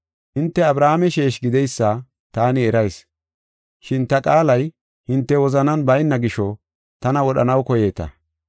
Hinte Abrahaame sheeshi gideysa taani erayis. Shin ta qaalay hinte wozanan bayna gisho, tana wodhanaw koyeeta.